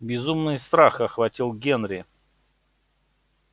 безумный страх охватил генри